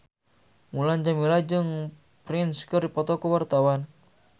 Mulan Jameela jeung Prince keur dipoto ku wartawan